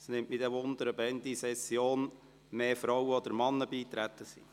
Es nimmt mich wunder, ob bis zum Ende der Session mehr Frauen oder mehr Männer beigetreten sind.